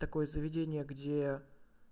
такое заведение где